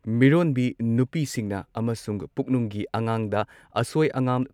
ꯃꯤꯔꯣꯟꯕꯤ ꯅꯨꯄꯤꯁꯤꯡꯅ ꯑꯃꯁꯨꯡ ꯄꯨꯛꯅꯨꯡꯒꯤ ꯑꯉꯥꯡꯗ ꯑꯁꯣꯏ ꯑꯉꯥꯝ